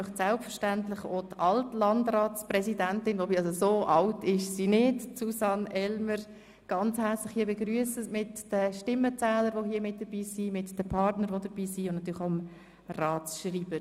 Selbstverständlich möchte AltLandratspräsidentin Susanne Elmer Feuz ganz herzlich begrüssen, sowie die anwesenden Stimmenzähler, die anwesenden Partner und natürlich auch den Ratsschreiber.